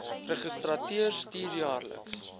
registrateur stuur jaarliks